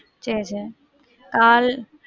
சேரி சேரி.